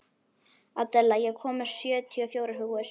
Adela, ég kom með sjötíu og fjórar húfur!